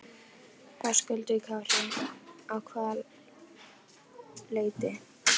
Höskuldur Kári: Að hvaða leyti?